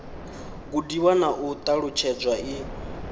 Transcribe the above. gudiwa na u ṱalutshedzwa i